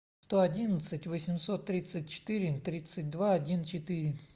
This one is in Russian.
сто одиннадцать восемьсот тридцать четыре тридцать два один четыре